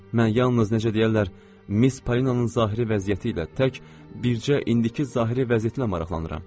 Mən yalnız necə deyərlər, Miss Palinanın zahiri vəziyyəti ilə tək bircə indiki zahiri vəziyyətilə maraqlanıram.